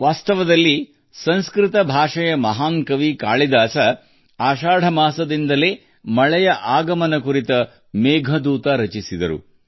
ವಾಸ್ತವವಾಗಿ ಮಹಾನ್ ಸಂಸ್ಕೃತ ಕವಿ ಕಾಳಿದಾಸನು ಆಷಾಢ ಮಾಸದ ಮಳೆಯ ಆಗಮನದ ಮೇಲೆ ಮೇಘದೂತವನ್ನು ಬರೆದನು